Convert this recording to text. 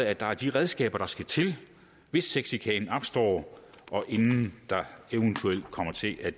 at der er de redskaber der skal til hvis sexchikane opstår og inden den eventuelt kommer til at